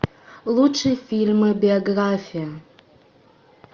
лучшие фильмы биография